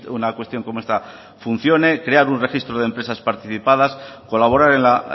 una cuestión como esta funcione crear un registro de empresas participadas colaborar en la